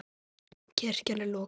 Kirkjan er lokuð.